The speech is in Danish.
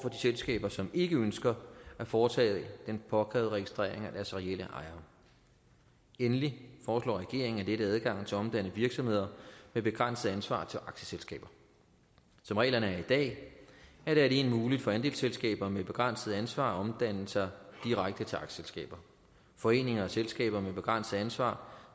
selskaber som ikke ønsker at foretage den påkrævede registrering af deres reelle ejere endelig foreslår regeringen at lette adgangen til at omdanne virksomheder med begrænset ansvar til aktieselskaber som reglerne er i dag er det alene muligt for andelsselskaber med begrænset ansvar at omdanne sig direkte til aktieselskaber foreninger og selskaber med begrænset ansvar